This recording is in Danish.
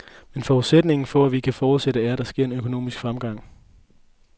Men forudsætningen for, at vi kan fortsætte, er, at der sker en økonomisk fremgang.